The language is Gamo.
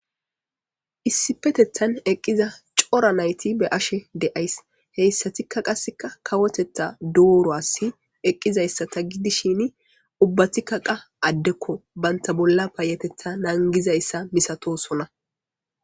Issipetethan eqqiza cora nayti be ashe deays heyssatikka qasseka kawotettha dooruwasi eqqizayssa ta gidishin ubbatikka qa addekko banta bolla paayetetha naangizayssa misatosona.